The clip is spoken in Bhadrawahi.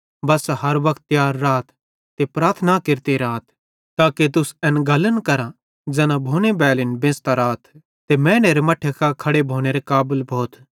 बस्सा हर वक्त तियार राथ ते प्रार्थना केरते राथ ताके तुस एन गल्लन करां ज़ैना भोने बैलिन बेंच़तां राथ ते मैनेरे मट्ठे कां खड़े भोनेरे काबल भोथ